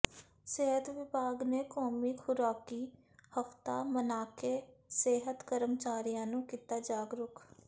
ਸਿਹਤ ਵਿਭਾਗ ਨੇ ਕੌਮੀ ਖੁਰਾਕੀ ਹਫ਼ਤਾ ਮਨਾਕੇ ਸਿਹਤ ਕਰਮਚਾਰੀਆਂ ਨੂੰ ਕੀਤਾ ਜਾਗਰੂਕ